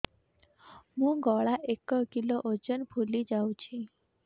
ମୋ ଗଳା ଏକ କିଲୋ ଓଜନ ଫୁଲି ଯାଉଛି